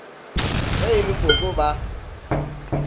ge e le koko ba